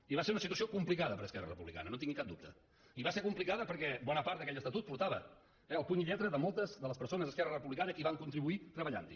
i va ser una situació complicada per a esquerra republicana no en tingui cap dubte i va ser complicada perquè bona part d’aquell estatut portava el puny i lletra de moltes de les persones d’esquerra republicana que hi van contribuir treballant hi